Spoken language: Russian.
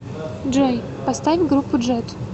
джой поставь группу джет